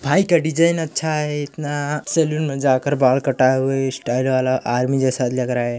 भाई का डिजाइन अच्छा हैं इतना सैलून में जाकर बाल कटाए हुए हैं स्टाइल वाला आर्मी जैसा लग रहा हैं।